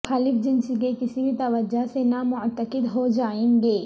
مخالف جنس کے کسی بھی توجہ سے نامعتقد ہوجائیں گے